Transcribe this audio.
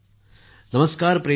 नमस्कार प्रेमजी